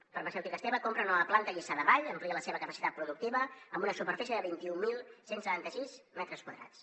la farmacèutica esteve compra una nova planta a lliçà de vall i amplia la seva capacitat productiva amb una superfície de vint mil cent i setanta sis metres quadrats